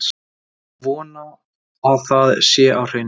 Ég vona að það sé á hreinu.